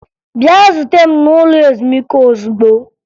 Bịa zuta m n'ụlọ ezumike ozugbo!